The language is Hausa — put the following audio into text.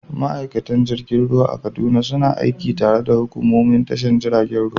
Ma’aikatan jirgin ruwa a Kaduna suna aiki tare da hukumomin tashar jiragen ruwa.